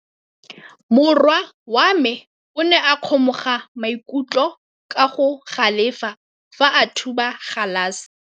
Morwa wa me o ne a kgomoga maikutlo ka go galefa fa a thuba galase.